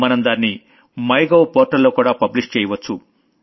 మనం దాన్ని మైగోవ్ portalలో కూడా పబ్లిష్ చెయ్యొచ్చు